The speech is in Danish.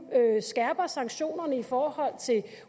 skærper sanktionerne i forhold til